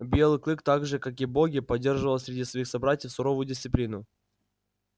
белый клык так же как и боги поддерживал среди своих собратьев суровую дисциплину